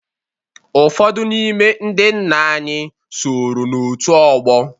Ụfọdụ n'ime ndị nna anyị soro n'òtù ọgbọ.